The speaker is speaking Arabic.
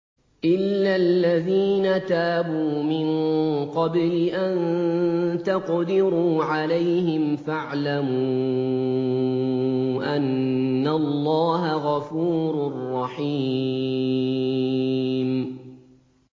إِلَّا الَّذِينَ تَابُوا مِن قَبْلِ أَن تَقْدِرُوا عَلَيْهِمْ ۖ فَاعْلَمُوا أَنَّ اللَّهَ غَفُورٌ رَّحِيمٌ